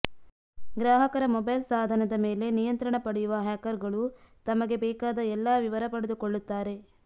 ಗ್ರಾಹಕರ ಮೊಬೈಲ್ ಸಾಧನದ ಮೇಲೆ ನಿಯಂತ್ರಣ ಪಡೆಯುವ ಹ್ಯಾಕರ್ಗಳು ತಮಗೆ ಬೇಕಾದ ಎಲ್ಲ ವಿವರ ಪಡೆದುಕೊಳ್ಳುತ್ತಾರೆ